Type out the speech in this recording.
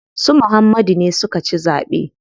Su Muhammadu ne suka ci zaɓe.